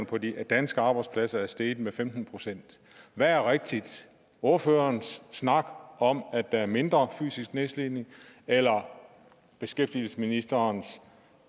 på de danske arbejdspladser er steget med femten procent hvad er rigtig ordførerens snak om at der er mindre fysisk nedslidning eller beskæftigelsesministerens